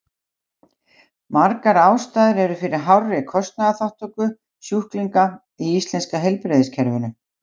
Margar ástæður eru fyrir hárri kostnaðarþátttöku sjúklinga í íslenska heilbrigðiskerfinu.